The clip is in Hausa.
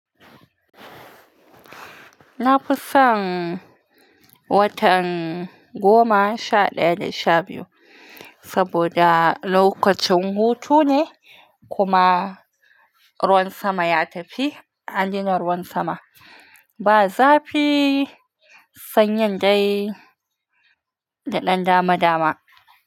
Na fi son watan goma sha ɗaya da sha biyu saboda lokacin hutu ne kuma ruwan sama ya tafi. An daina ruwan sama ba zafi. Sanyi dai da ɗan dama dama.